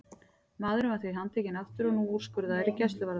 Maðurinn var því handtekinn aftur og nú úrskurðaður í gæsluvarðhald.